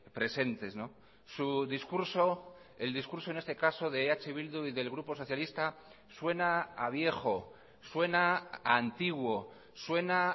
presentes su discurso el discurso en este caso de eh bildu y del grupo socialista suena a viejo suena a antiguo suena a